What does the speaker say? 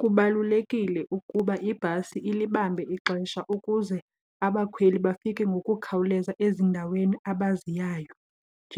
Kubalulekile ukuba ibhasi ilibambe ixesha ukuze abakhweli bafike ngokukhawuleza ezindaweni abaziyayo